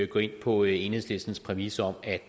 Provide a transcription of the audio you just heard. gå ind på enhedslistens præmis om at